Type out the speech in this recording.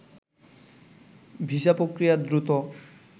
visa প্রক্রিয়া দ্রুত